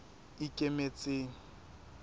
ikemetseng